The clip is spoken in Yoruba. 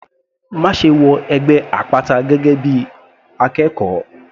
Máṣe wọ ẹgbẹ́ àpáta gẹ́gẹ́ bí akẹ́kọ̀ọ́!.